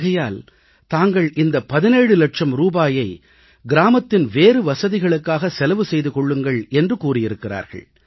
ஆகையால் தாங்கள் இந்த 17 லட்சம் ரூபாயை கிராமத்தின் வேறு வசதிகளுக்காக செலவு செய்து கொள்ளுங்கள் என்று கூறியிருக்கிறார்கள்